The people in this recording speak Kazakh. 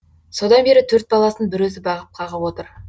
содан бері төрт баласын бір өзі бағып қағып отыр